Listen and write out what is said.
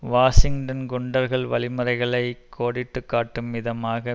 Washington குண்டர்கள் வழிமுறைகளை கோடிட்டு காட்டும் விதமாக